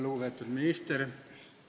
Lugupeetud minister!